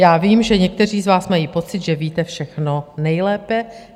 Já vím, že někteří z vás mají pocit, že víte všechno nejlépe.